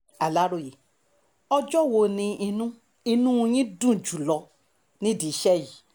aláròye ọjọ́ wo ni inú inú yín dùn jùlọ nídìí iṣẹ́ yìí